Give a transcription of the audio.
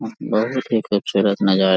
बहुत ही खूबसूरत नजारा --